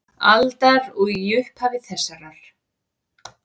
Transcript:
aldar og í upphafi þessarar.